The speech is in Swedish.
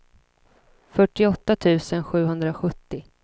fyrtioåtta tusen sjuhundrasjuttio